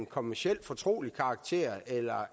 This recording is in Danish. kommercielt fortrolig karakter eller